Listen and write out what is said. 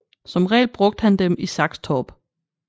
Som regel brugte han dem i Saxtorp